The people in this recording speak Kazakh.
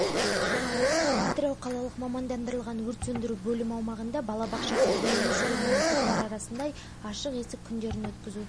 бұл жолы маусым жылы интеллект академиясы жедел дамыту орталығынан бала мен мұғалім отпен күресетіндерде қонақта болды